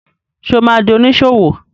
Ṣé o ma di oníṣòwò?